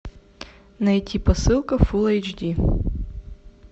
найти посылка фулл эйч ди